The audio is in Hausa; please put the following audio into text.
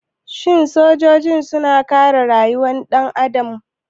Sojoji suna kare rayukan ɗan adam?